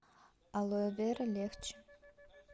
алоэвера легче